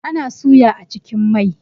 Ana yin suya a cikin mai.